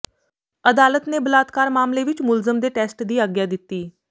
ਅਦਾਲਤ ਨੇ ਬਲਾਤਕਾਰ ਮਾਮਲੇ ਵਿੱਚ ਮੁਲਜ਼ਮ ਦੇ ਟੈਸਟ ਦੀ ਆਗਿਆ ਦਿੱਤੀ